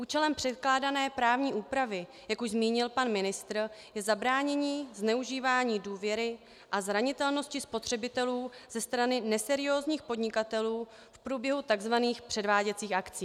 Účelem předkládané právní úpravy, jak už zmínil pan ministr, je zabránění zneužívání důvěry a zranitelnosti spotřebitelů ze strany neseriózních podnikatelů v průběhu tzv. předváděcích akcí.